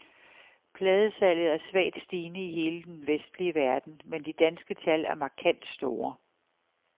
Pladesalget er svagt stigende i hele den vestlige verden, men de danske tal er markant store.